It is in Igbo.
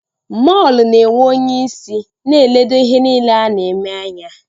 Mọlu na-enwe onyeisi na-eledo ihe niile a na-eme anya